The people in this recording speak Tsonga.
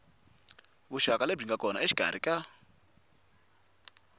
vuxaka lebyi nga kona exikarhi